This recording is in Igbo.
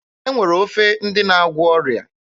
E nwere ofe ndị na-agwọ ọrịa.